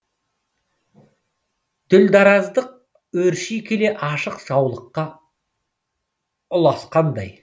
дүрдараздық өрши келе ашық жаулыққа ұласқандай